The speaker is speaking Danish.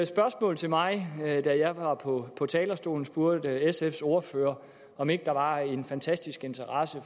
spørgsmål til mig da jeg var på talerstolen spurgte sfs ordfører om ikke der var en fantastisk interesse